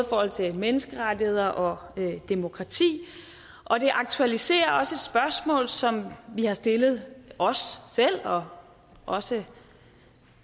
forhold til menneskerettigheder og demokrati og det aktualiserer også et spørgsmål som vi har stillet os selv og også